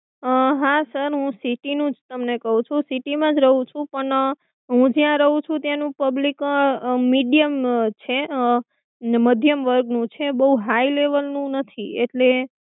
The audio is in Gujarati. અમ હા sir હું city નું જ તમને કહું છું. city મા જ રહું છું. પણ હું જ્યાં રહું છું ત્યાંનું public medium છે અને મધ્યમ વર્ગ નું છે. બહુ high level નું નથી એટલે